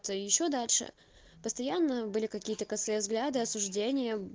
ещё дальше постоянно были какие-то косые взгляды осуждение